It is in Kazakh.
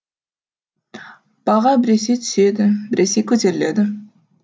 баға біресе түседі біресе көтеріледі